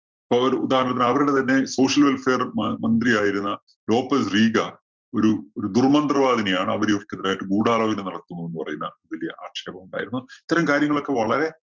ഇപ്പോ ഒരു ഉദാഹരണത്തിന് അവരുടെ തന്നെ social welfare മ~മന്ത്രിയായിരുന്ന നോപ്പല്‍ റീഗാന്‍ ഒരു ഒരു ദുര്‍മന്ത്രവാദിനിയാണ്. അവര് ഇവർക്കെതിരായിട്ട് ഗൂഡാലോചന നടത്തുന്നുന്ന് പറയുന്ന വല്യ ആക്ഷേപമുണ്ടായിരുന്നു. ഇത്തരം കാര്യങ്ങളൊക്കെ വളരെ